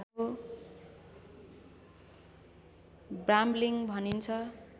brambling भनिन्छ